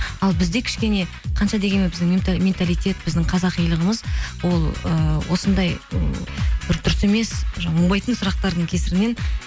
ал бізде кішкене қанша дегенмен біздің менталитет біздің қазақилығымыз ол ы осындай ы бір дұрыс емес оңбайтын сұрақтардың кесірінен